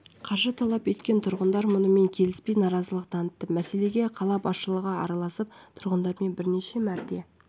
қаржы талап еткен тұрғындар мұнымен келіспей наразылық танытты мәселеге қала басшылығы араласып тұрғындармен бірнеше мәрте